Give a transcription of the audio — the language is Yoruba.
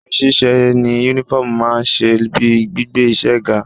Oríṣiríṣi iṣẹ́ ni Únífọ́ọ̀mù máa ń ṣe bíi gbígbé iṣẹ́ ga